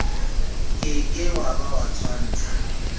ke ke wa ba tshwantsha